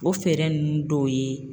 O fɛɛrɛ ninnu dɔw ye